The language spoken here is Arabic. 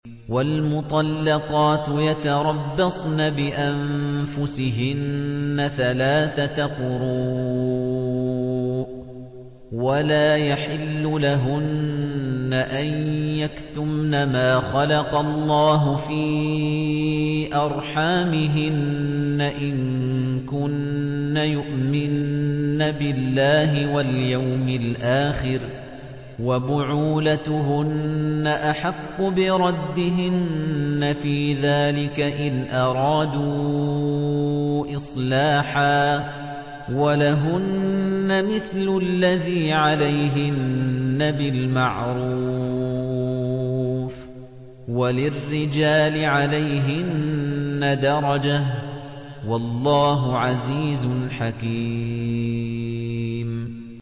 وَالْمُطَلَّقَاتُ يَتَرَبَّصْنَ بِأَنفُسِهِنَّ ثَلَاثَةَ قُرُوءٍ ۚ وَلَا يَحِلُّ لَهُنَّ أَن يَكْتُمْنَ مَا خَلَقَ اللَّهُ فِي أَرْحَامِهِنَّ إِن كُنَّ يُؤْمِنَّ بِاللَّهِ وَالْيَوْمِ الْآخِرِ ۚ وَبُعُولَتُهُنَّ أَحَقُّ بِرَدِّهِنَّ فِي ذَٰلِكَ إِنْ أَرَادُوا إِصْلَاحًا ۚ وَلَهُنَّ مِثْلُ الَّذِي عَلَيْهِنَّ بِالْمَعْرُوفِ ۚ وَلِلرِّجَالِ عَلَيْهِنَّ دَرَجَةٌ ۗ وَاللَّهُ عَزِيزٌ حَكِيمٌ